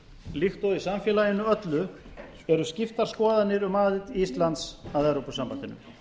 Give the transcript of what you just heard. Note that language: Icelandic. líkt og í samfélaginu öllu eru skiptar skoðanir um aðild íslands að evrópusambandinu